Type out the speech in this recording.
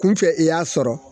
Kunfɛ i y'a sɔrɔ.